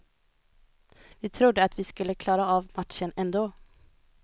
Vi trodde att vi skulle klara av matchen ändå.